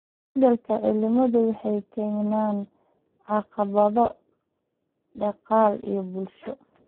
Isbedelka cimiladu wuxuu keenayaa caqabado dhaqaale iyo bulsho.